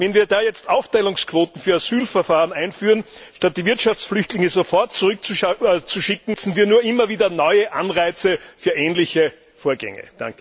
Wenn wir jetzt Aufteilungsquoten für Asylverfahren einführen, statt die Wirtschaftsflüchtlinge sofort zurückzuschicken, setzen wir nur immer wieder neue Anreize für ähnliche Vorgänge.